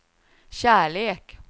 kärlek